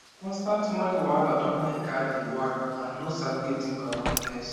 constant money wahala don make her dey worry and no sabi wetin go happen next